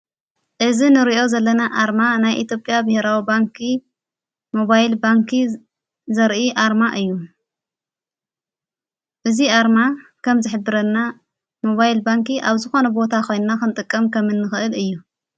እዝ ንርእዮ ዘለና ኣርማ ናይ ኢትዮጵያ ብሕራዊ ባንኪ ሞባይል ባንኪ ዘርኢ ኣርማ እዩ እዙይ ኣርማ ከም ዝኅብረልና ሞባይል ባንኪ ኣብ ዝኾነ ቦታ ኾንንና ኽንጠቀም ከም እንኽእል እዩ::